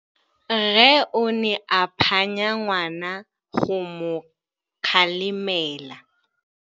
Rre o ne a phanya ngwana go mo galemela.